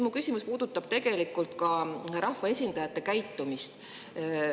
Mu küsimus puudutab ka rahvaesindajate käitumist.